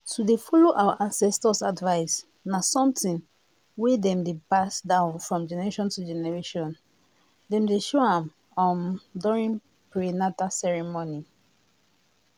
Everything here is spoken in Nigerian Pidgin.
to dey follow our ancestors' advice na somethind wey dem dey pass down from generation to generation dem dey show am um during prenata ceremony